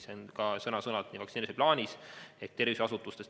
See on ka sõna-sõnalt vaktsineerimise plaanis kirjas.